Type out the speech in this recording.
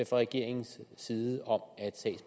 fra regeringens side om